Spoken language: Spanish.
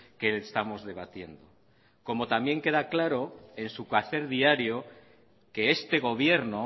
que estamos debatiendo como también queda claro en su quehacer diario que este gobierno